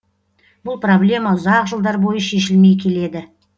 бұл проблема ұзақ жылдар бойы шешілмей келеді